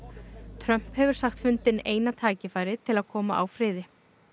Trump hefur sagt fundinn eina tækifærið til að koma á friði